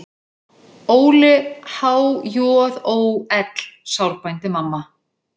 Óli á há-joð-ó-ell, sárbændi mamma.